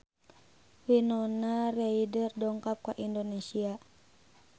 Winona Ryder dongkap ka Indonesia